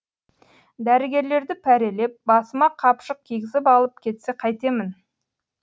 дәрігерлерді пәрелеп басыма қапшық кигізіп алып кетсе қайтемін